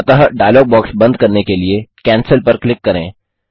अतः dialog box बंद करने के लिए कैंसेल पर क्लिक करें